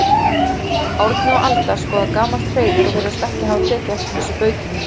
Árni og Alda skoða gamalt hreiður og virðast ekki hafa tekið eftir þessu bauki mínu.